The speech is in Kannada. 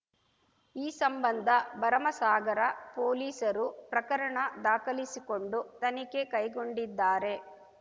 ಈ ಸಂಬಂಧ ಭರಮಸಾಗರ ಪೊಲೀಸರು ಪ್ರಕರಣ ದಾಖಲಿಸಿಕೊಂಡು ತನಿಖೆ ಕೈಗೊಂಡಿದ್ದಾರೆ